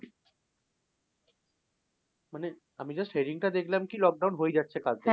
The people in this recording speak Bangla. মানে আমি just heading টা দেখলাম কি lock down হয়েই যাচ্ছে কাল থেকে।